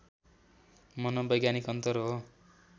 मनोवैज्ञानिक अन्तर हो